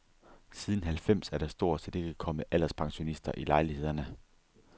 Siden halvfems er der stort set ikke kommet alderspensionister i lejlighederne.